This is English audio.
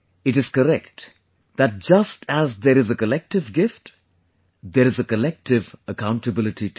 It is correct that just as there is a collective gift, there is a collective accountability too